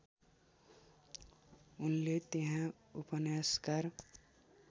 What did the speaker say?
उनले त्यहाँ उपन्यासकार